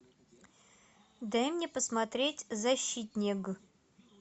дай мне посмотреть защитнег